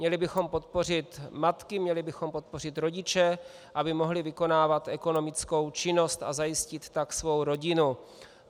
Měli bychom podpořit matky, měli bychom podpořit rodiče, aby mohli vykonávat ekonomickou činnost a zajistit tak svou rodinu.